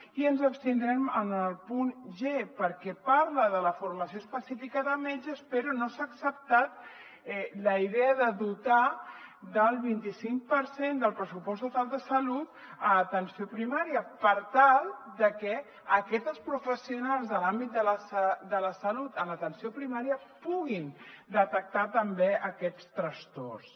i ens abstindrem en el punt g perquè parla de la formació específica de metges però no s’ha acceptat la idea de dotar del vint i cinc per cent del pressupost total de salut l’atenció primària per tal de que aquestes professionals de l’àmbit de la salut en l’atenció primària puguin detectar també aquests trastorns